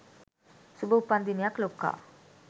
සුභ උපන්දිනයක් ලොක්කා